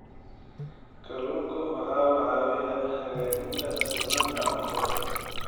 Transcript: Kalluunku waxa uu caawiyaa hagaajinta sugnaanta cuntada.